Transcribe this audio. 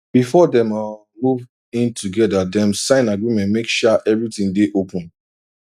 before dem um move in together dem sign agreement make sha everything dey open